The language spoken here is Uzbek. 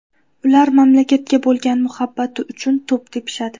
Ular mamlakatga bo‘lgan muhabbati uchun to‘p tepishadi.